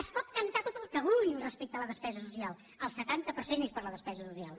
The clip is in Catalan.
es pot cantar tot el que vulguin respecte a la despesa social el setanta per cent és per a la despesa social